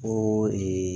O